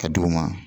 Ka d'u ma